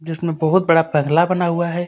जिसमे बहुत बड़ा बना हुआ हे.